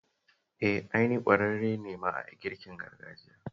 Eh, ai ni ƙwararre ne ma a girkin gargajiya